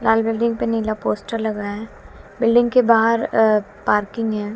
लाल building पे नीला poster लग रहा है बिल्डिंग के बाहर अह पार्किंग है।